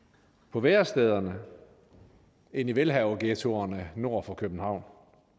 på værestederne end i velhaverghettoerne nord for københavn